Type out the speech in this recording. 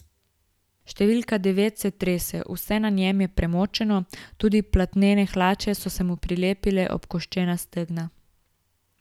Številka devet se trese, vse na njem je premočeno, tudi platnene hlače so se mu prilepile ob koščena stegna.